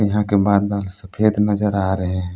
यहां के बादल सफेद नजर आ रहे हैं।